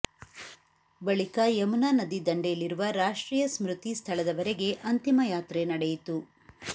ಬಳಿಕ ಯುಮುನಾ ನದಿ ದಂಡೆಯಲ್ಲಿರುವ ರಾಷ್ಟ್ರೀಯ ಸ್ಮೃತಿ ಸ್ಥಳದವರೆಗೆ ಅಂತಿಮ ಯಾತ್ರೆ ನಡೆಯಿತು